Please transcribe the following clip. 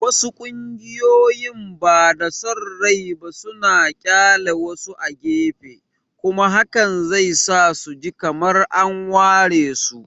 Wasu ƙungiyoyin bada son rai ba suna ƙyale wasu a gefe, kuma hakan zai sa su ji kamar an waresu.